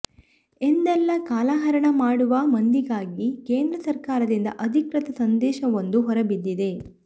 ಎಂದೆಲ್ಲಾ ಕಾಲಹರಣ ಮಾಡುವ ಮಂದಿಗಾಗಿ ಕೇಂದ್ರ ಸರಕಾರದಿಂದ ಅಧಿಕೃತ ಸಂದೇಶವೊಂದು ಹೊರಬಿದ್ದಿದೆ